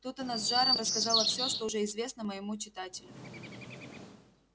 тут она с жаром рассказала всё что уже известно моему читателю